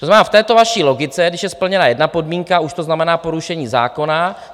To znamená v této vaší logice, když je splněna jedna podmínka, už to znamená porušení zákona.